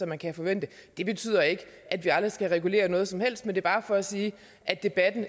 man kan forvente det betyder ikke at vi aldrig skal regulere noget som helst men det er bare for at sige at debatten